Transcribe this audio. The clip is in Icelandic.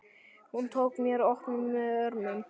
Hún tók mér opnum örmum.